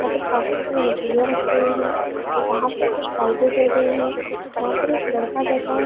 यहाँ काफी साडी मछलियाँ रखी हुई है वहाँ पर कुछ पार्टी चल रही है यहाँ पर एक लड़का बैठा है।